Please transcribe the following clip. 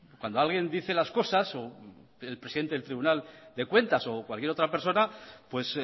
cuando alguien dice las cosas el presidente del tribunal de cuentas o cualquier otra persona pues